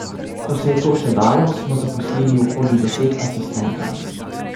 Ko se je to še dalo, smo zaposlili okoli deset asistentov.